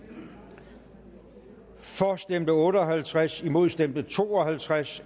for stemte otte og halvtreds imod stemte to og halvtreds